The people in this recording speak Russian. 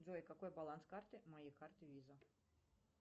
джой какой баланс карты моей карты виза